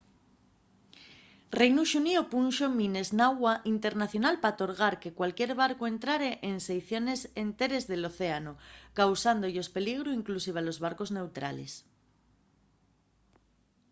reinu xuníu punxo mines n’agua internacional pa torgar que cualquier barcu entrare en seiciones enteres del océanu causándo-yos peligru inclusive a los barcos neutrales